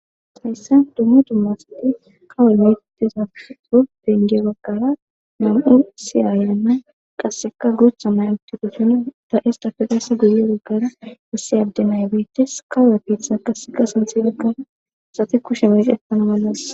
hayssa duma duma asati kawol mittiza udenje baggara mam7u siyaayanna qasseka guutha mayuti doson da7estafe qasse guye goggara isse adde nay beyittes kawepiitha qasseka sinthifigan sate kushe meys ettana mallas.